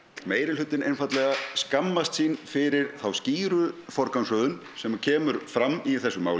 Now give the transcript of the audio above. meirihlutinn einfaldlega skammast sín fyrir þá skýru forgangsröðun sem kemur fram í þessu máli